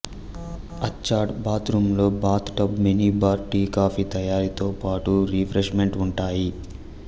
attached bath రూంలో bathtub mini bar tea coffee తయారీతో పాటు రిఫ్రెష్ మెంట్ ఉంటాయి